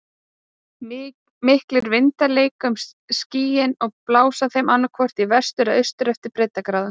Miklir vindar leika um skýin og blása þeir annaðhvort í vestur eða austur eftir breiddargráðum.